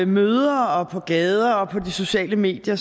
møder og på gader og på de sociale medier